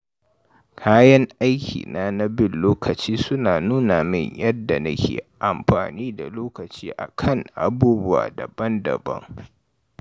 Kayan aikina na bin lokaci suna nuna min yadda nake amfani da lokaci a kan abubuwa daban-daban.